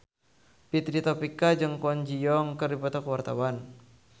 Fitri Tropika jeung Kwon Ji Yong keur dipoto ku wartawan